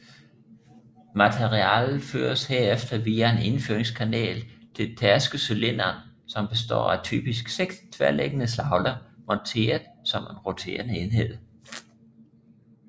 Materialet føres herefter via en indføringskanal til tærskecylinderen som består af typisk 6 tværliggende slagler monteret som en roterende enhed